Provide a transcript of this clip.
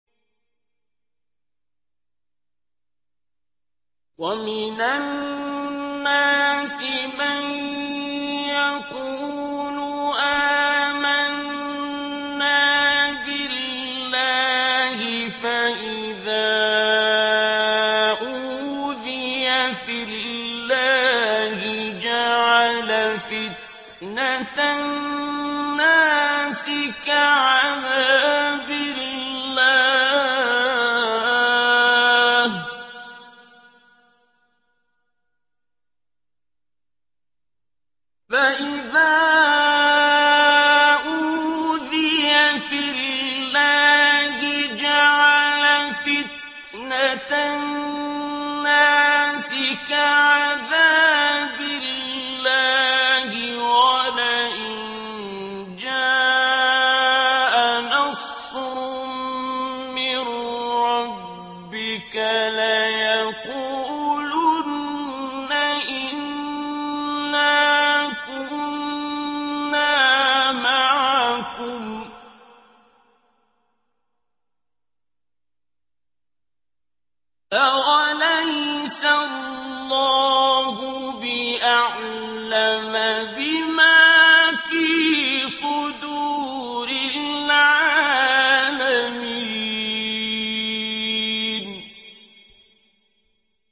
وَمِنَ النَّاسِ مَن يَقُولُ آمَنَّا بِاللَّهِ فَإِذَا أُوذِيَ فِي اللَّهِ جَعَلَ فِتْنَةَ النَّاسِ كَعَذَابِ اللَّهِ وَلَئِن جَاءَ نَصْرٌ مِّن رَّبِّكَ لَيَقُولُنَّ إِنَّا كُنَّا مَعَكُمْ ۚ أَوَلَيْسَ اللَّهُ بِأَعْلَمَ بِمَا فِي صُدُورِ الْعَالَمِينَ